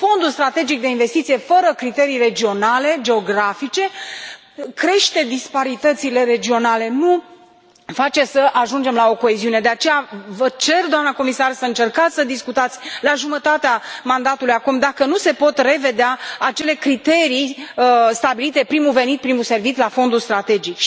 Fondul strategic de investiție, fără criterii regionale, geografice, crește disparitățile regionale, nu face să ajungem la o coeziune de aceea, vă cer, doamnă comisar, să încercați să discutați la jumătatea mandatului, acum, dacă nu se pot revedea acele criterii stabilite primul venit, primul servit la Fondul strategic.